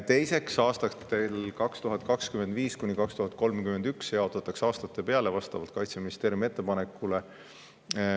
Teiseks, aastatel 2025–2031 jaotatakse see aastate peale vastavalt Kaitseministeeriumi ettepanekule.